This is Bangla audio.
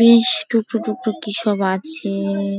বেশ টুক টুক টুক কিসব আছে ।